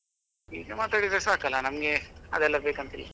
ಹೀಗೆ ಮಾತಾಡಿದ್ರೆ ಸಾಕಲ್ಲ ನಮಗೆ ಅದೆಲ್ಲ ಬೇಕಂತಿಲ್ಲ.